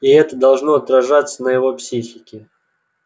и это должно отражаться на его психике